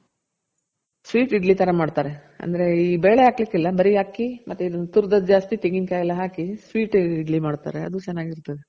sweet idli ತರ ಮಾಡ್ತಾರೆ ಅಂದ್ರೆ ಈ ಬೇಳೆ ಹಾಕ್ಲಿಕ್ ಇಲ್ಲ ಬರಿ ಅಕ್ಕಿ ತುರ್ದದ್ ಜಾಸ್ತಿ ತೆಂಗಿನ್ಕಾಯ್ ಎಲ್ಲ ಹಾಕಿ sweet ಇಡ್ಲಿ ಮಾಡ್ತಾರೆ ಅದು ಚೆನಾಗಿರ್ತದೆ.